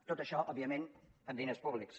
tot això òbviament amb diners públics